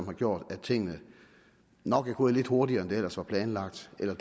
har gjort at tingene nok er gået lidt hurtigere end det ellers var planlagt eller